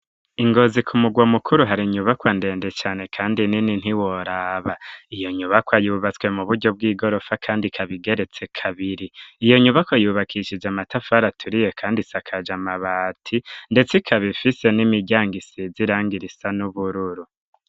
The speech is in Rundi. Ingozi ku mugwa mukuru hari nyubakwa ndende cane, kandi nini ntiworaba iyo nyubakwa yubatswe mu buryo bw'igorofa, kandi kabigeretse kabiri iyo nyubako yubakishije amatafara aturiye, kandi isakaje amabati, ndetse kabifise n'imiryango isizirangoirisa n'ubururu.